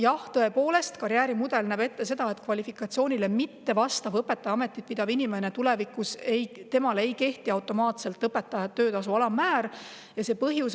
Jah, tõepoolest, karjäärimudel näeb ette, et kvalifikatsioonile mittevastavale õpetaja ametit pidavale inimesele tulevikus õpetajate töötasu alammäär ei kehti.